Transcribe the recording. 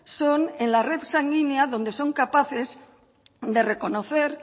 son en la red sanguínea donde son capaces de reconocer